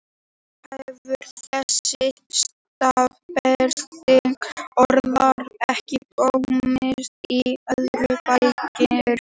Oft hefur þessi staðbundni orðaforði ekki komist í orðabækur.